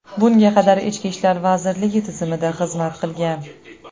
Bunga qadar Ichki ishlar vazirligi tizimida xizmat qilgan.